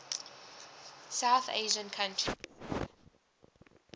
south asian countries